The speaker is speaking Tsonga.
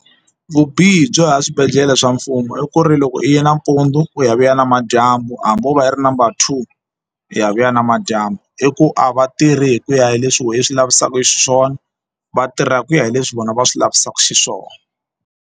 Vubihi byo ya swibedhlele swa mfumo i ku ri loko i yi nampundzu u ya vuya namadyambu hambi wo va yi ri number two u ya vuya namadyambu i ku a va tirhi hi ku ya hi leswi why swi lavisaka xiswona vatirha hi ku ya hi leswi vona va swi lavisaka xiswona.